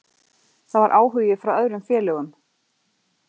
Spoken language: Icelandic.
Það var áhugi frá öðrum félögum.